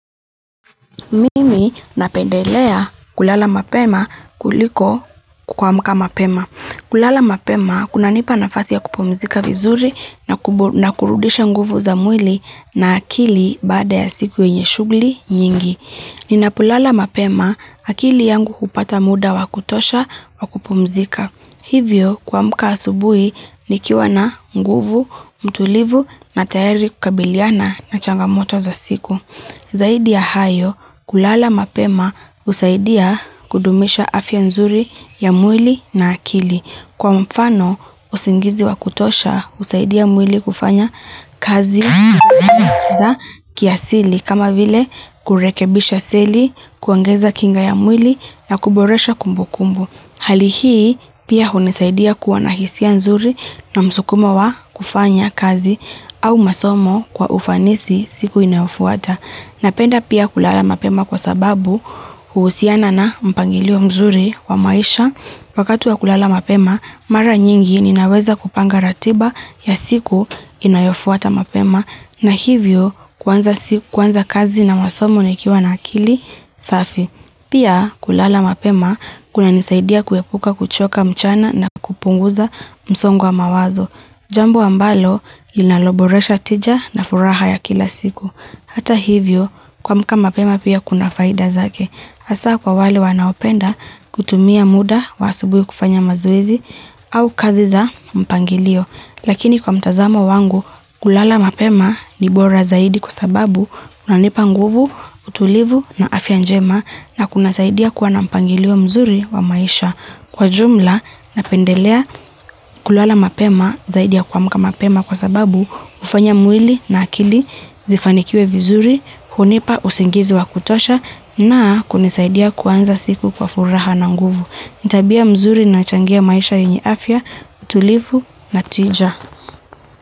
Mimi napendelea kulala mapema kuliko kuamka mapema. Kulala mapema kunanipa nafasi ya kupumzika vizuri na kurudisha nguvu za mwili na akili baada ya siku inye shughuli nyingi. Ninapolala mapema akili yangu kupata muda wa kutosha wa kupumzika. Hivyo kuamka asubui ni kiwa na nguvu, mtulivu na tayari kukabiliana na changamoto za siku. Zaidi ya hayo kulala mapema usaidia kudumisha afya nzuri ya mwili na akili. Kwa mfano usingizi wa kutosha usaidia mwili kufanya kazi za kiasili kama vile kurekebisha seli, kuongeza kinga ya mwili na kuboresha kumbu kumbu. Halihii pia hunisaidia kuwa na hisia nzuri na msukumo wa kufanya kazi au masomo kwa ufanisi siku inayofuata. Napenda pia kulala mapema kwa sababu huusiana na mpangilio mzuri wa maisha wakatu wa kulala mapema mara nyingi ninaweza kupanga ratiba ya siku inayofuata mapema na hivyo kwanza kazi na masomo nekiwa na akili safi. Pia kulala mapema kunanisaidia kuepuka kuchoka mchana na kupunguza msongo mawazo. Jambo ambalo inaloboresha tija na furaha ya kila siku. Hata hivyo, kwa mkama mapema pia kuna faida zake. Asa kwa wale wanaopenda kutumia muda wa asubuyu kufanya mazoezi au kazi za mpangilio. Lakini kwa mtazama wangu, kulala mapema ni bora zaidi kwa sababu kunanipa nguvu, utulivu na afya njema na kuna saidia kwa nampangiliwa mzuri wa maisha. Kwa jumla, napendelea kulala mapema zaidi ya kuamka mapema kwa sababu ufanya mwili na akili, zifanikiuwe vizuri, hunipa usingizi wa kutosha na kuna saidia kuanza siku kwa furaha na nguvu. Ni tabia mzuri na changea maisha yu niafya, utulivu na tija.